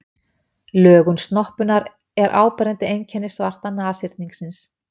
Lögun snoppunnar er áberandi einkenni svarta nashyrningsins.